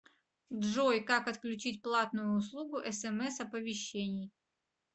джой как отключить платную услугу смс оповещений